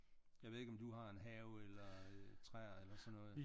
Jeg ved ikke om du har en have eller træer eller sådan noget?